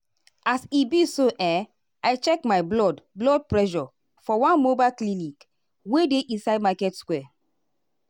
as e be so eh i check my blood blood pressure for one mobile clinic wey dey inside market square.